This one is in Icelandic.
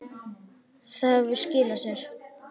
Það hefur skilað sér.